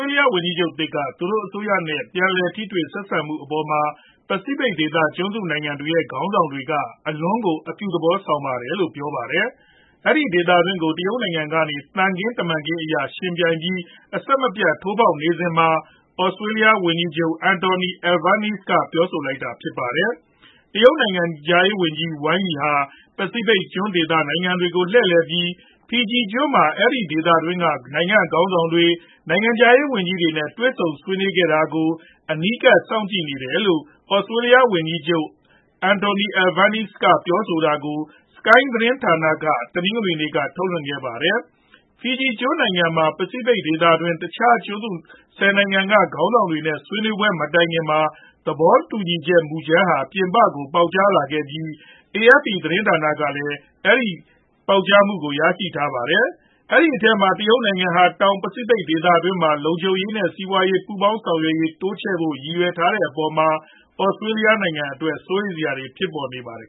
ေးလျဝန်ကြီးချုပ်သစ် က သူတို့အစိုးရနဲ့ ပြန်လည်ထိတွေ့ ဆက်ဆံမှုတွေအပေါ်မှာ ပစီဖိတ်ဒေသ ကျွန်းစုနိုင်ငံတွေရဲ့ ခေါင်းဆောင်တွေက အလွန်ကို အပြုသဘောဆောင်တယ်လို့ ပြောပါတယ်။ အဲဒီဒေသတွင်းကို တရုတ်နိုင်ငံကနေ သံခင်းတမန်ခင်းအရ ယှဉ်ပြိုင်ပြီး အဆက်မပြတ် ထိုးဖောက်လာနေစဉ်မှာ သြစတြေးလျဝန်ကြီးချုပ် Anthony Albanese က ပြောဆိုလိုက်တာဖြစ်ပါတယ်။ တရုတ်နိုင်ငံခြားရေးဝန်ကြီး Wang Yi ဟာ ပစီဖိတ်ကျွန်းစုနိုင်ငံတွေကို လှည့်လည်ပြီး Fiji ကျွန်းမှာ အဲဒီဒေသတွင်းက နိုင်ငံခေါင်းဆောင်တွေ၊ နိုင်ငံခြားရေးဝန်ကြီးတွေနဲ့ တွေ့ဆုံဆွေးနွေးခဲ့တာကို အနီးကပ် စောင့်ကြည့်ခဲ့တယ်လို့ သြစတြေးလျဝန်ကြီးချုပ် Anthony Albanese ပြောဆိုတာကို Sky သတင်းဌာနက တနင်္ဂနွေနေ့က ထုတ်လွှင့်ခဲ့ပါတယ်။ Fiji ကျွန်းနိုင်ငံမှာ ပစီဖိတ်ဒေသတွင်း တခြားကျွန်းစု ၁ဝ နိုင်ငံက ခေါင်းဆောင်တွေနဲ့ ဆွေးနွေးပွဲမတိုင်ခင်မှာ သဘောတူညီချက် မူကြမ်းဟာ ပြင်ပကို ပေါက်ကြားလာခဲ့ပြီး AFP ကလည်း ရရှိထားပါတယ်။ အဲဒီအထဲမှာ တရုတ်နိုင်ငံဟာ တောင်ပစီဖိတ်ဒေသတွင်းမှာ လုံခြုံရေးနဲ့ စီးပွားရေး ပူးပေါင်းဆောင်ရွက်ရေး တိုးချဲ့ဖို့ ရည်ရွယ်ထားတဲ့အပေါ်မှာ သြစတြေးလျအတွက် စိုးရိမ်စရာတွေဖြစ်ပေါ်လာပါတယ်